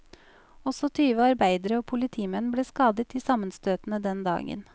Også tyve arbeidere og politimenn ble skadet i sammenstøtene den dagen.